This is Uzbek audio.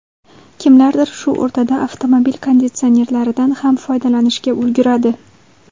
Kimlardir shu o‘rtada avtomobil konditsionerlaridan ham foydalanishga ulguradi.